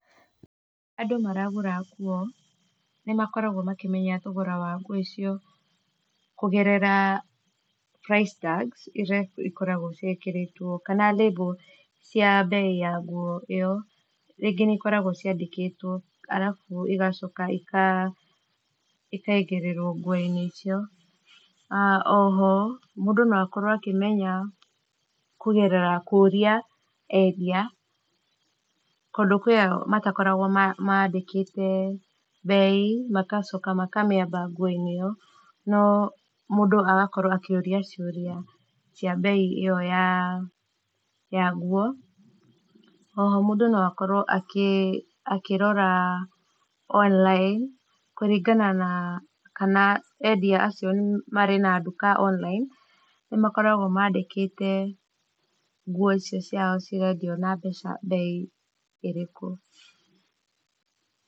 Andũ maragũra nguo, nĩmakoragwo makĩmenya thogora wa nguo icio, kũgerera price tags iria ikoragwo ciĩkĩrĩtwo, kana label cia mbei ya nguo ĩyo, rĩngĩ nĩ ikoragwo ciandĩkĩtwo, arabu cigacoka cika cikaigĩrĩrwo nguo-inĩ icio, a oho mũndũ no akorwo akĩmenya, kũgerera kũũria endia , tondũ kwĩ ao matakoragwo mandĩkĩte mbei, magacoka makamĩamba nguo-inĩ ĩyo, no mũndũ agakorwo akĩũrĩa ciũria cia mbei ĩyo ya nguo, oho mũndũ no akorwo akĩ, akĩrora online kũringana na , kana endia acio marĩ na nduka online, nĩmakoragwo mandĩkĩte nguo icio ciao cigakĩona mbeca ,mbei ĩrĩkũ.